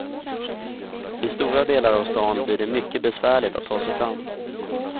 I stora delar av stan blir det mycket besvärligt att ta sig fram.